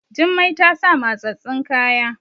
Jummai ta sa mattsattun kaya